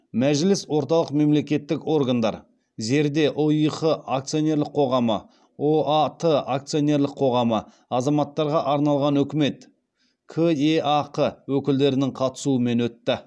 мәжіліс орталық мемлекеттік органдар зерде ұих акционерлік қоғамы ұат акционерлік қоғамы азаматтарға арналған үкімет кеақ өкілдерінің қатысуымен өтті